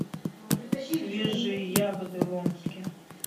свежие ягоды в омске